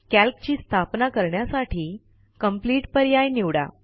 calc ची स्थापना करण्यासाठी कंप्लीट पर्याय निवडा